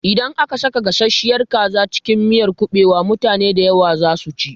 Idan aka saka gasasshiyar kaza a cikin miyar kuɓewa, mutane dayawa za su ci